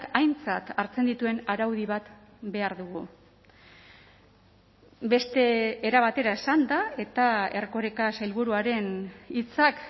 aintzat hartzen dituen araudi bat behar dugu beste era batera esanda eta erkoreka sailburuaren hitzak